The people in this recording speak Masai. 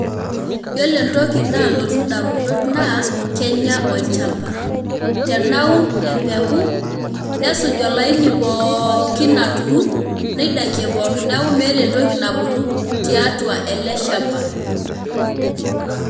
Yiolo enatoki nalotu ndamunot na kenya olchamba, tenaun empuku nesuj olaini pooooookin aturu neidakie pookin neaku meeta entoki nabuku tiatua ele shamba.